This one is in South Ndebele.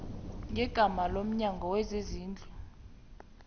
ngegama lomnyango wezezindlu